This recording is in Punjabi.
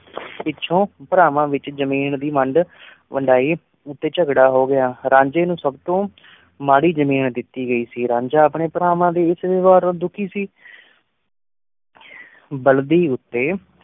ਪਿੱਛੋਂ ਪਰਾਵਾਂ ਵਿਚ ਜ਼ਮੀਨ ਦੀ ਵੰਡ ਵੰਡਾਈ ਉਤੇ ਝਗੜਾ ਹੋ ਗਿਆ। ਰਾਂਝੇ ਨੂੰ ਸਬ ਤੋਂ ਮਾੜੀ ਜ਼ਮੀਨ ਦਿਤੀ ਗਈ ਸੀ, ਰਾਂਝਾ ਅਪਣੇ ਪਰਾਵਾਂ ਦੇ ਇਸ ਵਿਹਾਰ ਨਾਲ ਦੁਖੀ ਸੀ। ਬਲਦੀ ਊਤੇ